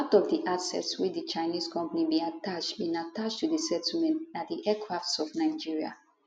part of di assets wey di chinese company bin attach bin attach to settlement na di aircrafts of nigeria